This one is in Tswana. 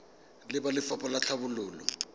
le ba lefapha la tlhabololo